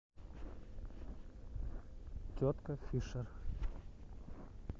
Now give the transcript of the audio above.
тетка фишер